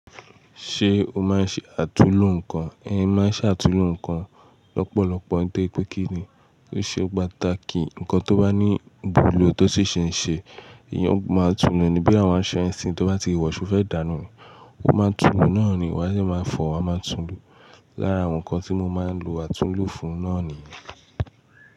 Ṣé o máa ń ṣe àtúnlo nǹkan? Ẹ̀n, máa ń ṣe àtúnlo nǹkan lọ́pọ̀lọpọ̀. Nitoripé kí n, ó ṣe pàtàkì. Ǹkan tó bá ní ìwùlò tó sì ṣe ń ṣe, èèyàn máa ń tún lo ni. Bí àwọn aṣọ ẹ nṣin tó bá ti wọ̀ ṣó fẹ́ dànù ni? Ó máa tún lo náà ni. Wàá dẹ́ máa fọ, wa máa tún lo. Lára àwọn nǹkan tí mo máa ń lo, àtúnlo fún un náà nìyẹn.